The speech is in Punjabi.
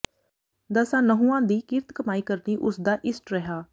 ਦਸਾਂ ਨਹੁੰਆਂ ਦੀ ਕਿਰਤ ਕਮਾਈ ਕਰਨੀ ਉਸਦਾ ਇਸ਼ਟ ਰਿਹਾ